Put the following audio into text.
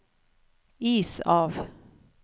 is av